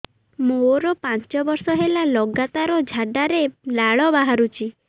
ମୋରୋ ପାଞ୍ଚ ବର୍ଷ ହେଲା ଲଗାତାର ଝାଡ଼ାରେ ଲାଳ ବାହାରୁଚି